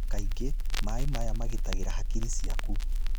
Kaingĩ, maĩ maya magitagĩra hakiri ciaku.